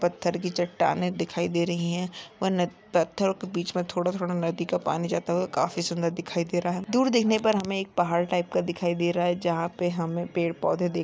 पत्थर की चट्टानें दिखाई दे रही है व नद पत्थरो के बीच मे थोड़ा-थोड़ा नदी का पानी जाता हुआ काफी सुन्दर दिखाय दे रहा है दूर देखने पर हमे एक पहाड़ टाइप का दिखाई रहा है जहाँ पे हमे पेड़ पौधे देख--